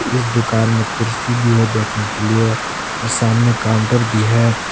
इस दुकान में कुर्सी भी है बैठने के लिए और सामने काउंटर भी है।